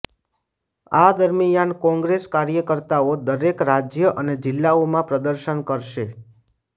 આ દરમિયાન કોંગ્રેસ કાર્યકર્તાઓ દરેક રાજ્ય અને જિલ્લાઓમાં પ્રદર્શન કરશે